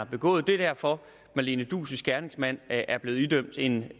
begået det er derfor marlene duus gerningsmand er blevet idømt en